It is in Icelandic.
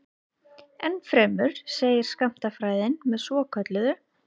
Ennfremur segir skammtafræðin með svokölluðu